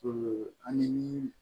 ani